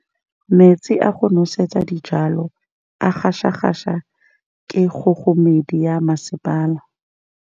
Metsi a go nosetsa dijalo a gasa gasa ke kgogomedi ya masepala.